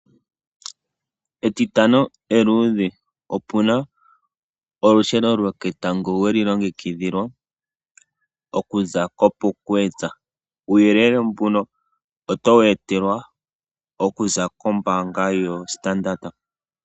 Etitano eluudhe opuna olusheno loketango weli longekidhilwa okuza koPupkewitz, uuyelele mbuno oto wu etelwa okuza kombaanga yoStandard.